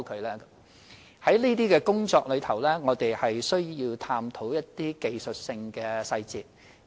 在處理這些工作時，我們要探討技術性的細節。